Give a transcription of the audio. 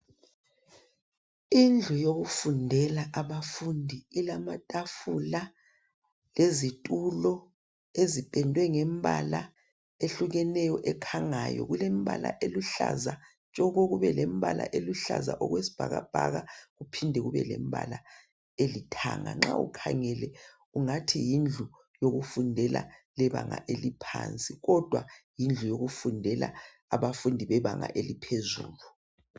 Indlu yokufundela abafundi ilamatafula lezitulo ezipendwe ngembala ehlukeneyo ekhangayo. Kulembala eluhlaza tshoko, kube lembala eluhlaza okwesibhakabhaka kuphinde kube lembala elithanga. Nxa ukhangele ungathi yindlu yokufundela lebanga eliphansi kodwa yindlu yokufundela abafundi bebanga eliphezulu.